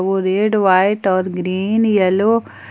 वो red white और green yellow.